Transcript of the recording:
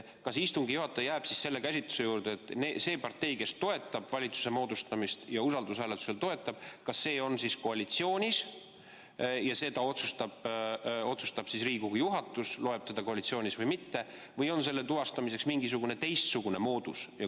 Kas istungi juhataja jääb selle käsitluse juurde, et see partei, kes toetab valitsuse moodustamist, ka usaldushääletusel toetab, on koalitsioonis ja seda otsustab Riigikogu juhatus, kas ta loeb teda koalitsioonis olevaks või mitte, või on selle tuvastamiseks mingisugune teistsugune moodus?